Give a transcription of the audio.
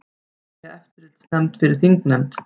Vilja eftirlitsnefnd fyrir þingnefnd